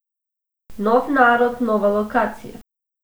Nov narod, nova lokacija.